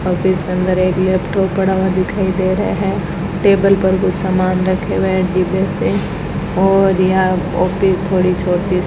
office के अंदर एक लैपटॉप पड़ा हुआ दिखाई दे रहा है टेबल पर कुछ सामान रखे हुए हैं डिब्बे पे और यहां ऑफिस थोड़ी छोटी सी --